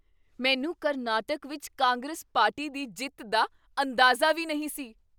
ਮੈਨੂੰ ਕਰਨਾਟਕ ਵਿੱਚ ਕਾਂਗਰਸ ਪਾਰਟੀ ਦੀ ਜਿੱਤ ਦਾ ਅੰਦਾਜ਼ਾ ਵੀ ਨਹੀਂ ਸੀ।